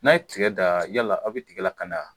N'a' ye tigɛ daan yala aw be tigɛ lakanda a?